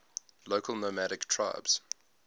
local nomadic tribes